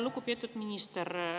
Lugupeetud minister!